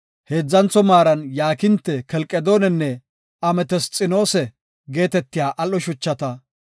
heedzantho maaran yaakinte, kelqedoonenne ametesxinoosa geetetiya al7o shuchata;